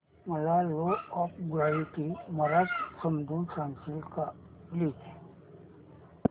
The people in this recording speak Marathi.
मला लॉ ऑफ ग्रॅविटी मराठीत समजून सांगशील का प्लीज